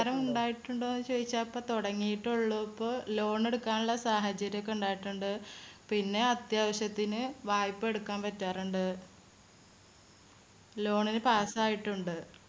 ഉപകാരം ഉണ്ടായിട്ടുണ്ടോന്ന് ചോദിച്ചാ ഇപ്പോ തുടങ്ങിയിട്ടേ ഉള്ളൂ. ഇപ്പോ loan എടുക്കാനുള്ള സാഹചര്യയൊക്കെ ഉണ്ടായിട്ടുണ്ട്. പിന്നെ അത്യാവശ്യത്തിന് വായ്‌പ എടുക്കാൻ പറ്റാറുണ്ട്. loan ന് pass യിട്ടുണ്ട്.